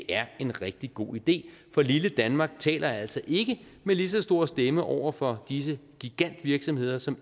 er en rigtig god idé for lille danmark taler altså ikke med lige så stor stemme over for disse gigantvirksomheder som